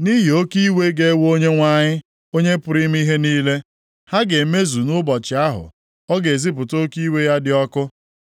13:13 \+xt Heg 2:6\+xt* nʼihi oke iwe + 13:13 \+xt Abụ 110:5; Akw 1:12\+xt* ga-ewe Onyenwe anyị, Onye pụrụ ime ihe niile. Ha ga-emezu nʼụbọchị ahụ ọ ga-ezipụta oke iwe ya dị ọkụ.